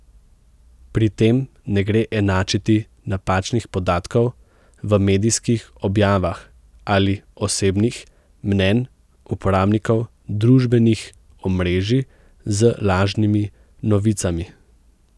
Pri tem ne gre enačiti napačnih podatkov v medijskih objavah ali osebnih mnenj uporabnikov družbenih omrežij z lažnimi novicami.